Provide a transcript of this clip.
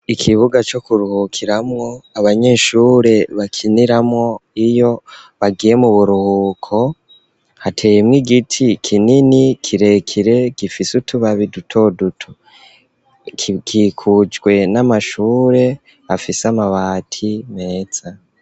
Ikibuga co kuruhukiramwo, abanyeshure bakiniramwo iyo bagiye mu buruhuko, hateyemwo igiti kinini kirekire gifise utubabi dutoduto. Gikikujwe n'amashure afise amabati meza.